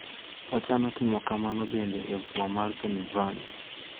Ochano timo kamano bende e boma mar Pennsylvania.